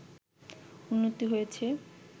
উন্নতি হয়েছে